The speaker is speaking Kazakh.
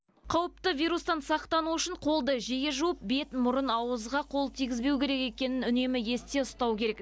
қауіпті вирустан сақтану үшін қолды жиі жуып бет мұрын ауызға қол тигізбеу керек екенін үнемі есте ұстау керек